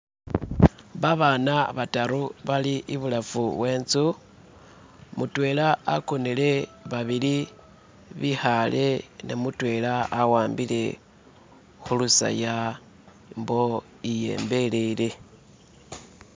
Babana bataru bali ibulafu wetsu mutwela wakonele babili bikhale ne mutwela awambile khuluseya mbo eyembelele